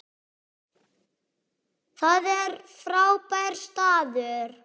Það er frábær staður.